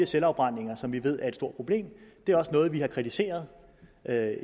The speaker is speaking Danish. selvafbrændinger som vi ved er et stort problem det er noget vi har kritiseret